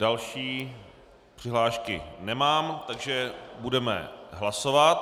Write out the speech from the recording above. Další přihlášky nemám, takže budeme hlasovat.